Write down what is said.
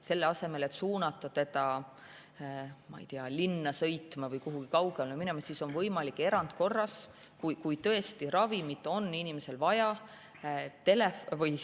Selle asemel et suunata teda, ma ei tea, linna sõitma või kuhugi mujale kaugele minema, on võimalik erandkorras, kui tõesti ravimit on inimesel vaja,.